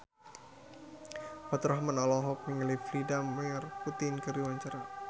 Faturrahman olohok ningali Vladimir Putin keur diwawancara